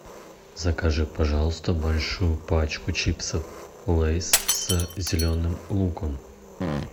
закажи пожалуйста большую пачку чипсов лейс с зеленым луком